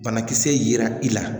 Banakisɛra i la